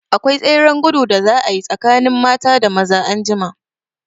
Akwai tseren gudu da za a yi tsakanin mata da maza anjima.